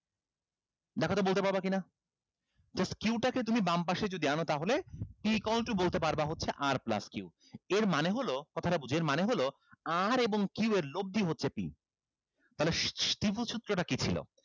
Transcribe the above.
দেখো তো বলতে পারবা কিনা just q টাকে তুমি বামপাশে যদি আনো তাহলে p equal to বলতে পারবা হচ্ছে r plus q এর মানে হলো কথাটা বুঝো এর মানে হলো r এবং q এর লব্ধি হচ্ছে p তাহলে ত্রিভুজ সূত্রটা কি ছিল